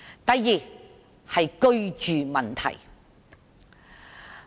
第二，是居住問題。